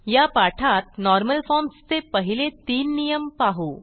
या पाठात normal forms चे पहिले तीन नियम पाहू